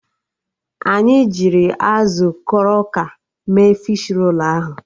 Anyị jirl azụ kroka mee fishi rolu ahụ